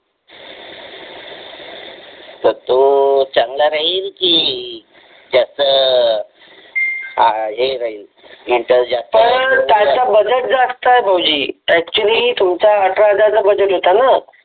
तर तो चांगला राहील की त्याचं हे राहील तर त्याचा बजेट जास्त आहे भाऊजी ऍकचुली तुमचा अठरा हजार चा बजेट होता ना